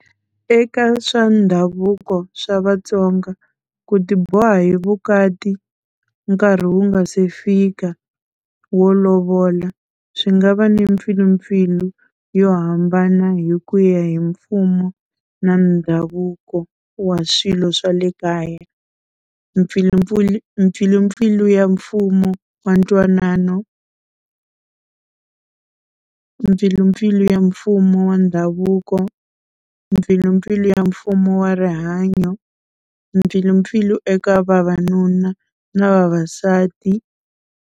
Eka swa ndhavuko swa Vatsonga ku ti boha hi vukati nkarhi wu nga se fika wo lovola swi nga va ni mpfilimpfilu yo hambana hi ku ya hi mfumo na ndhavuko wa swilo swa le kaya. Mpfilumpfulu mpfilumpfilu ya mfumo wa ntwanano, mpfilumpfilu ya mfumo wa ndhavuko, mpfilumpfilu ya mfumo wa rihanyo, mpfilumpfilu eka vavanuna na vavasati.